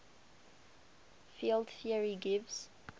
field theory gives